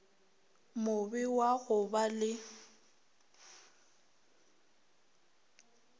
mobe wa go ba le